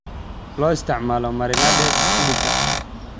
Loo isticmaalo marinades hilibka.